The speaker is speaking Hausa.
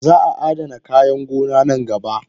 Zaa adana kayan gona nan gaba.